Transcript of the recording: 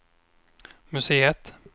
museet